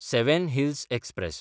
seven Hills express